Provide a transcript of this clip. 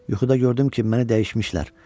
Yuxuda gördüm ki, məni dəyişmişlər.